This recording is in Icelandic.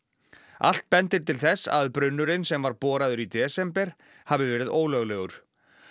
allt bendir til þess að brunnurinn sem var í desember hafi verið ólöglegur